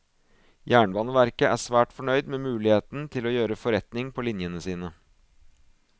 Jernbaneverket er svært fornøyd med muligheten til å gjøre forretning på linjene sine.